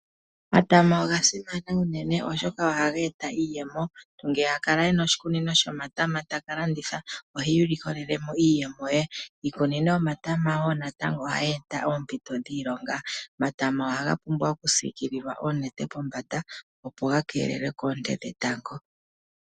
Omatama oga simana unene oshoka oha geta iiyemo omuntu ngele akala ena oshikunino shomatama taka landitha ohi likolelemo iiyemo ye, iikunino yomatama natango ohayi eta oompito dhiilonga. Omatama ohaga pumbwa oku sikilwa oonete pombanda opo ga keelelwe koonte dhetango